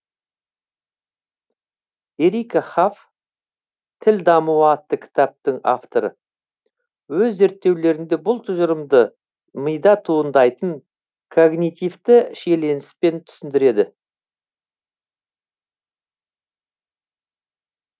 ерика хаф тіл дамуы атты кітаптың авторы өз зерттеулерінде бұл тұжырымды мида туындайтын когнитивті шиелініспен түсіндіреді